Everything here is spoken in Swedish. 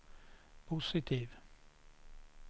positiv